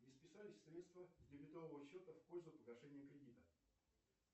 не списались средства с дебетового счета в пользу погашения кредита